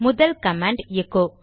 முதல் command echo